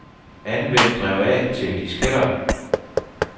Anvend drev A til disketter.